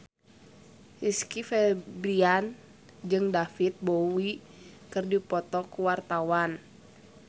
Rizky Febian jeung David Bowie keur dipoto ku wartawan